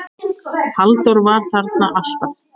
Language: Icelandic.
Halldór var þarna alltaf.